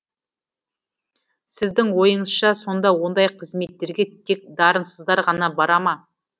сіздің ойыңызша сонда ондай қызметтерге тек дарынсыздар ғана бара ма